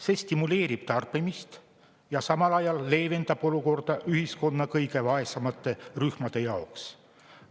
See stimuleerib tarbimist ja samal ajal leevendab olukorda ühiskonna kõige vaesemate rühmade jaoks.